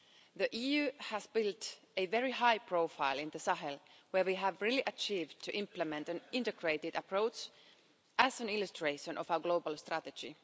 The EU has built a very high profile in the Sahel where we have really succeeded to implement an integrated approach as an illustration of how global strategy.